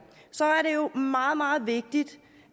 så er jo meget meget vigtigt